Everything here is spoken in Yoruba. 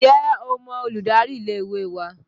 Ǹjẹ́ o mọ olùdarí ilé ìwé wa?